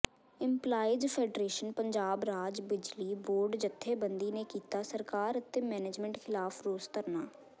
employees federation Punjab ਰਾਜ ਬਿਜਲੀ board ਜਥੇਬੰਦੀ ਨੇ ਕੀਤਾ ਸਰਕਾਰ ਅਤੇ ਮੈਨੇਜਮੈਂਟ ਿਖ਼ਲਾਫ਼ ਰੋਸ ਧਰਨਾ